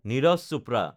Neeraj Chopra